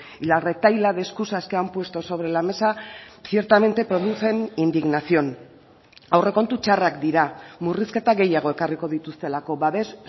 y la retahíla de escusas que han puesto sobre la mesa ciertamente producen indignación aurrekontu txarrak dira murrizketa gehiago ekarriko dituztelako babes